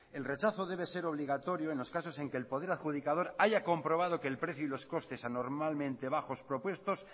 el rechazo debe ser obligatorio en los casos en que el poder adjudicador haya comprobado que el precio y los costes anormalmente bajos propuestos